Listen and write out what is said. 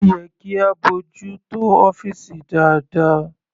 Ó yẹ kí a bójú tó ọ́fìsì dáadáa..